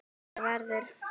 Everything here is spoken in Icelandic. Þú ferð.